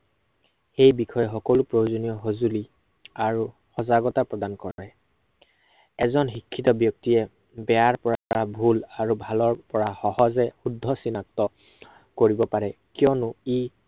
এই বিষয়ে সকলো প্ৰয়োজনীয় সঁজুলি, আৰু সজাগতা প্ৰদান কৰে। এজন শিক্ষিত ব্য়ক্তিয়ে, বেয়াৰ পৰা এটা ভুল আৰু ভালৰ পৰা সহজে শুদ্ধ চিনাক্ত কৰিব পাৰে। কিয়নো